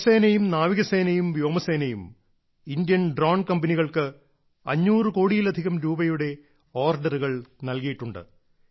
കരസേനയും നാവികസേനയും വ്യോമസേനയും Indian drone കമ്പനികൾക്ക് 500 കോടിയിലധികം രൂപയുടെ ഓർഡറുകൾ നൽകിയിട്ടുണ്ട്